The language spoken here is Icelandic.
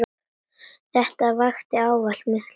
Þetta vakti ávallt mikla lukku.